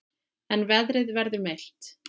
En veðrið verður milt.